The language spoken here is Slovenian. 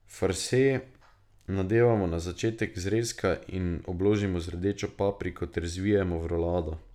Farse nadevamo na začetek zrezka in obložimo z rdečo papriko ter zvijemo v rolado.